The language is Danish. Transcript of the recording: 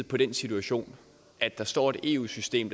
på den situation at der står et eu system